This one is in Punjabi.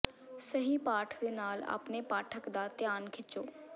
ਸਹੀ ਪਾਠ ਦੇ ਨਾਲ ਆਪਣੇ ਪਾਠਕ ਦਾ ਧਿਆਨ ਖਿੱਚੋ